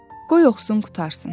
Qoy oxusun qurtarsın.